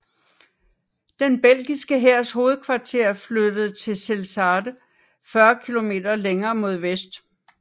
Den belgiske hærs hovedkvarter flyttede til Zelzate 40 km længere mod vest